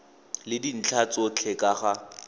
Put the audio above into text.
le dintlha tsotlhe ka ga